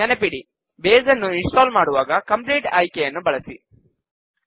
ನೆನಪಿಡಿ ಬೇಸ್ ನ್ನು install ಮಾಡುವಾಗ ಕಂಪ್ಲೀಟ್ ಆಯ್ಕೆಯನ್ನು ಬಳಸಿ